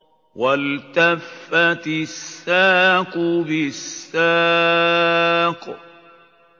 وَالْتَفَّتِ السَّاقُ بِالسَّاقِ